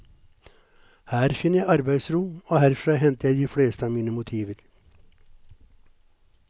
Her finner jeg arbeidsro og herfra henter jeg de fleste av mine motiver.